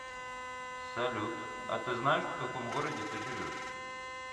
салют а ты знаешь в каком городе ты живешь